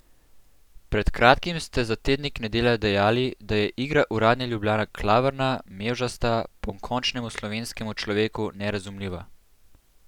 Pred kratkim ste za tednik Nedelja dejali, da je igra uradne Ljubljane klavrna, mevžasta, pokončnemu slovenskemu človeku nerazumljiva.